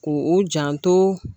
K'o u janto